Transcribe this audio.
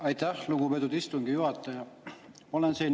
Aitäh, lugupeetud istungi juhataja!